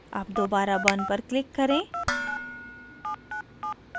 अब दोबारा burn पर click करें